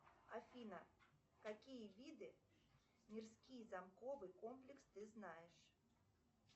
афина какие виды мирские заковы комплекс ты знаешь